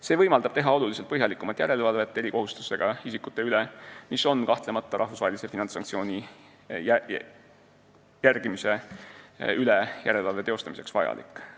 See võimaldab teha oluliselt põhjalikumat järelevalvet erikohustustega isikute üle, mis on kahtlemata rahvusvahelise finantssanktsiooni järgimise üle järelevalve teostamiseks vajalik.